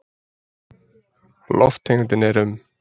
Lofttegundin er um